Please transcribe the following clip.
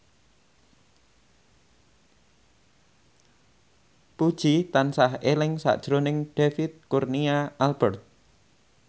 Puji tansah eling sakjroning David Kurnia Albert